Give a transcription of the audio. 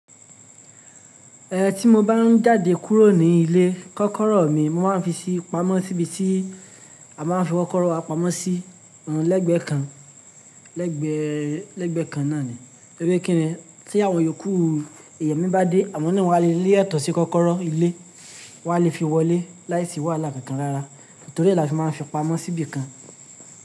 Eh tí mo bá ń jáde kúrò ní ilé, kọ́kọ́rọ́ mi mo máa ń fi sí pamọ́ síbi tí a máa ń fi kọ́kọ́rọ́ wa pamọ́ sí, lẹ́gbẹ̀ẹ́ kan, lẹ́gbẹ̀ẹ́, lẹ́gbẹ̀ẹ́ kan náà ni. Tori wipe kíni tí àwọn yòókù èèyàn mi bá dé, àwọn ni wọn a lè le ètò sí kọ́kọ́rọ́ ilé, wọn a lè fi wọlé láìsí wàhálà kankan rárá. Nítorí e lafi máa ń fi pamọ́ síbi kan.